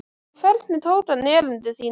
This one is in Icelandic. Og hvernig tók hann erindi þínu?